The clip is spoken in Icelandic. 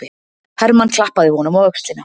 Hermann klappaði honum á öxlina.